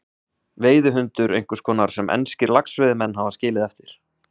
Veiðihundur einhvers konar sem enskir laxveiðimenn hafa skilið eftir.